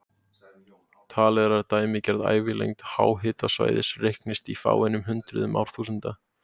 Talið er að dæmigerð ævilengd háhitasvæðis reiknist í fáeinum hundruðum árþúsunda.